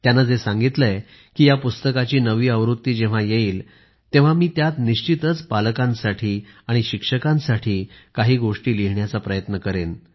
आपण जे सांगितले आहे की या पुस्तकाची नवी आवृत्ती जेव्हा येईल तेव्हा मी त्यात निश्चितच पालकांसाठी आणि शिक्षकांसाठी काही गोष्टी लिहिण्याचा प्रयत्न करेन